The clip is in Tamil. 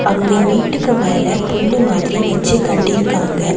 அங்க வீட்டுக்கு மேல புல்லு மாதிரி வெச்சு கட்டிருக்காங்க.